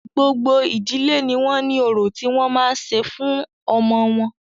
Gbogbo ìdílé ní wọ́n ní orò tí wọ́n máa ṣe fún ọmọ wọn.